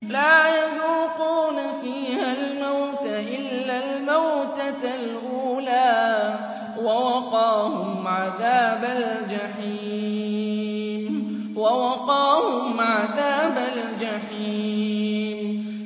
لَا يَذُوقُونَ فِيهَا الْمَوْتَ إِلَّا الْمَوْتَةَ الْأُولَىٰ ۖ وَوَقَاهُمْ عَذَابَ الْجَحِيمِ